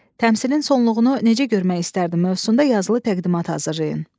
Təmsilin sonluğunu necə görmək istərdin mövzusunda yazılı təqdimat hazırlayın.